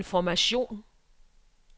information